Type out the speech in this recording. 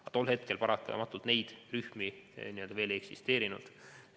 Aga tol hetkel paratamatult neid rühmi veel ei eksisteerinud.